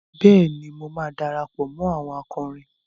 Bẹ́ẹ̀ni, mo máa darapọ̀ mó àwọn akọrin.